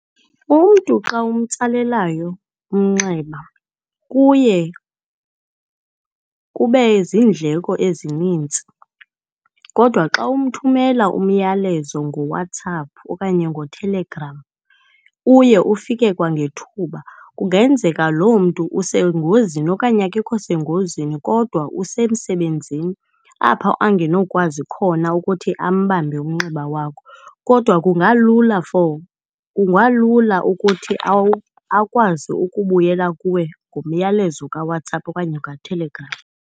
Umntu xa umtsalelayo umnxeba, kuye kube ziindleko ezinintsi kodwa xa umthumela umyalezo ngoWhatsApp okanye noTelegram uye ufike kwangethuba. Kungenzeka lo mntu usengozini okanye akekho sengozini kodwa usemsebenzini apha angenokwazi khona ukuthi apha ambambe umnxeba wakho kodwa kungalula for, kungalula ukuthi akwazi ukubuyela kuwe ngomyalezo kaWhatsApp okanye okaTelegram.